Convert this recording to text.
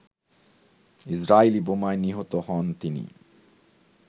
Israeli বোমায় নিহত হন তিনি